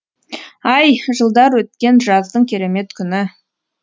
ай жылдар өткен жаздың керемет күні